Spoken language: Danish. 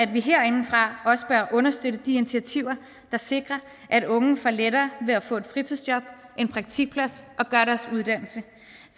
vi herindefra også bør understøtte de initiativer der sikrer at unge får lettere ved at få et fritidsjob en praktikplads og gøre deres uddannelse